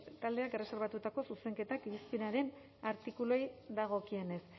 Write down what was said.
erreserbatutako zuzenketak irizpenaren artikuluei dagokienez